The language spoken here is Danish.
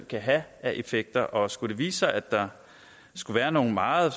kan have af effekter og skulle det vise sig at der skulle være nogle meget